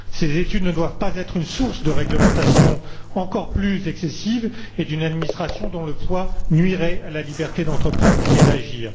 Ces études ne doivent pas être une source de réglementation encore plus excessive et d'une administration dont le poids nuirait à la liberté d'entreprendre et d'agir.